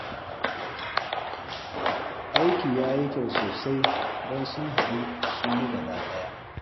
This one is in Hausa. Aikin ya yi kyau sosai don sun haɗu sun yi gabaɗaya